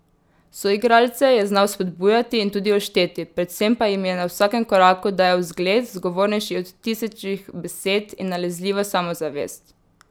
Soigralce je znal spodbujati in tudi ošteti, predvsem pa jim je na vsakem koraku dajal zgled, zgovornejši od tisočih besed, in nalezljivo samozavest.